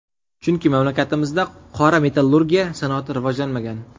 Chunki mamlakatimizda qora metallurgiya sanoati rivojlanmagan.